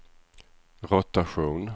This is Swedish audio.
rotation